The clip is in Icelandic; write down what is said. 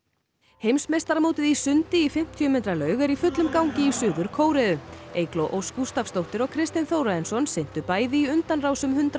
heimsmeistaramótið í sundi í fimmtíu metra laug er í fullum gangi í Suður Kóreu Eygló Ósk Gústafsdóttir og Kristinn Þórarinsson syntu bæði í undanrásum hundrað